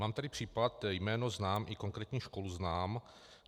Mám tady případ, jméno znám i konkrétní školu znám.